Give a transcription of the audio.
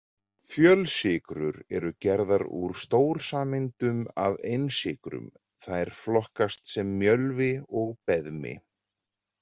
Fjölsykrur eru gerðar úr stórsameindum af einsykrum þær flokkast sem mjölvi og beðmi.